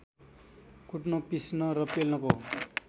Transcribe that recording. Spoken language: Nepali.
कुट्न पिस्न र पेल्नको